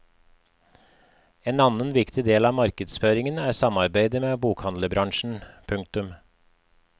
En annen viktig del av markedsføringen er samarbeidet med bokhandlerbransjen. punktum